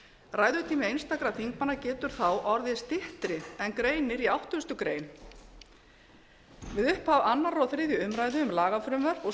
ræðutími einstakra þingmanna getur þá orðið styttri en greinir í áttugustu greinar við upphaf annar og þriðju umræðu um lagafrumvörp og